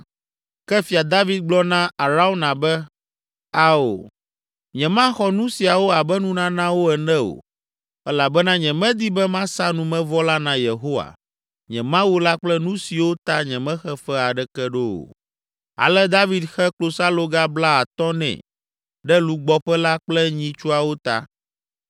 Ke Fia David gblɔ na Arauna be, “Ao, nyemaxɔ nu siawo abe nunanawo ene o, elabena nyemedi be masa numevɔ la na Yehowa, nye Mawu la kple nu siwo ta nyemexe fe aɖeke ɖo o.” Ale David xe klosaloga blaatɔ̃ nɛ ɖe lugbɔƒe la kple nyitsuawo ta.